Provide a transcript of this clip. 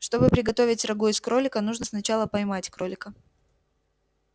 чтобы приготовить рагу из кролика нужно сначала поймать кролика